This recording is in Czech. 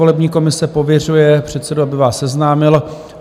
Volební komise pověřuje předsedu, aby vás seznámil: